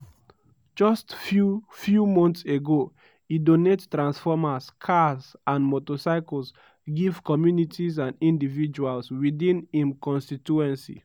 just few few months ago e donate transformers cars and motorcycles give communities and individuals within im constituency.”